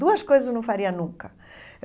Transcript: Duas coisas eu não faria nunca.